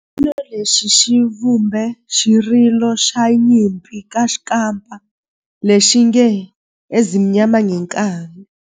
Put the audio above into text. Xipano lexi xi vumbe xirilo xa nyimpi xa kampa lexi nge 'Ezimnyama Ngenkani'.